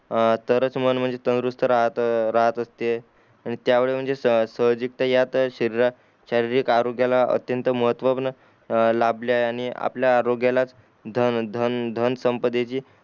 आं तारच मन म्हणजे तंदुरुस्थ राहत असते आणि त्या वेळी म्हणजे स स्वजीक ता यात शरीरा शारीरिक आरोग्याला अत्यंत महत्व लाभले आहे आणि आपल्या आरोग्याला धन धन संपदेची